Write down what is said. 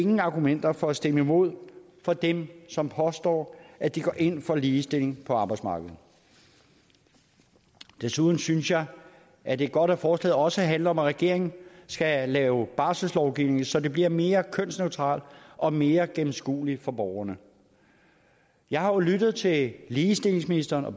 nogen argumenter for at stemme imod for dem som påstår at de går ind for ligestilling på arbejdsmarkedet desuden synes jeg at det er godt at forslaget også handler om at regeringen skal lave barselslovgivning så det bliver mere kønsneutralt og mere gennemskueligt for borgerne jeg har jo lyttet til ligestillingsministeren og